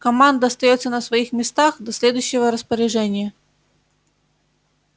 команда остаётся на своих местах до следующего распоряжения